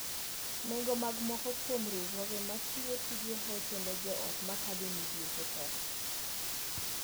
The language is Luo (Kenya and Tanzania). Nengo mag moko kuom riwruoge ma chiwo tije hocho ne joot makadho e midhieche tek.